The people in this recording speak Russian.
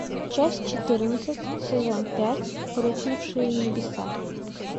часть четырнадцать сезон пять рухнувшие небеса